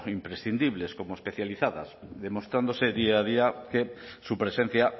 imprescindibles como especializadas demostrándose día a día que su presencia